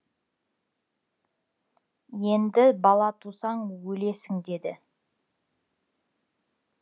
енді бала тусаң өлесің деді